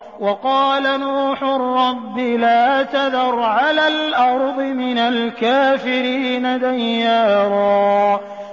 وَقَالَ نُوحٌ رَّبِّ لَا تَذَرْ عَلَى الْأَرْضِ مِنَ الْكَافِرِينَ دَيَّارًا